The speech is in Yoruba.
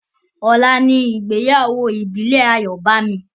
Ọlá ní ìgbéyàwó Ìbílè Ayobami